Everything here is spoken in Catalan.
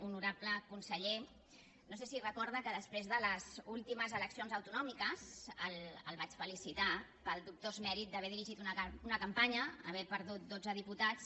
honorable conseller no sé si recorda que després de les últimes eleccions autonòmiques el vaig felicitar pel dubtós mèrit d’haver dirigit una campanya haver perdut dotze diputats